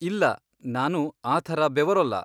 ಇಲ್ಲ, ನಾನು ಆ ಥರ ಬೆವರೋಲ್ಲ.